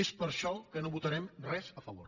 és per això que no votarem res a favor